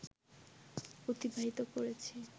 অতিবাহিত করেছি